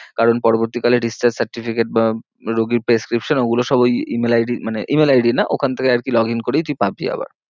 কারণ পরবর্তী কালে discharge certificate বা রুগির prescription ওগুলো সব ওই email ID মানে email ID না ওখান থেকে আর কি login করেই তুই পাবি আবার।